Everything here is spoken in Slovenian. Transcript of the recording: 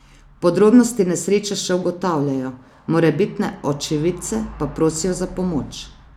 Podrobnosti nesreče še ugotavljajo, morebitne očividce pa prosijo za pomoč.